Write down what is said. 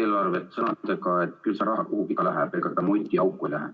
eelarvet sõnadega, et küll see raha kuhugi läheb, ega ta mutiauku lähe.